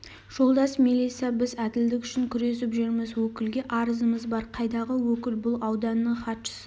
жолдас мелиса біз әділдік үшін күресіп жүрміз өкілге арызымыз бар қайдағы өкіл бұл ауданның хатшысы